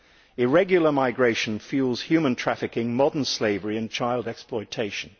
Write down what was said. Irregular migration fuels human trafficking, modern slavery and child exploitation.